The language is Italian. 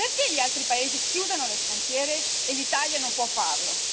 Perché gli altri paesi chiudono le frontiere e l'Italia non può farlo?